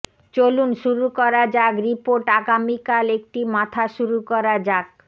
চলুন শুরু করা যাক রিপোর্ট আগামীকাল একটি মাথা শুরু করা যাক